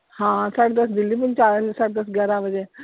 ਹਾਂ ਸਾਡੇ ਦੱਸ ਦਿੱਲੀ ਪਹੁੰਚਾ ਦੇਂਦੀ ਆ ਸਾਡੇ ਦੱਸ ਗਿਆਰਾਂ ਵਜੇ।